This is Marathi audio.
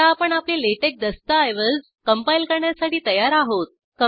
आता आपण आपले लॅटेक्स दस्ताऐवज कंपाईल करण्यासाठी तयार आहोत